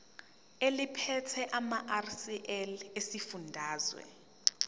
eliphethe lamarcl esifundazwe